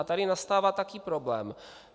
A tady nastává taky problém.